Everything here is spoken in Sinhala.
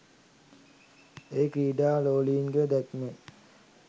එය ක්‍රීඩා ලෝලීන්ගේ දැක්මෙන්